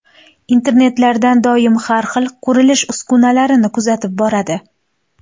Internetlardan doim har xil, qurilish uskunalarini kuzatib boradi.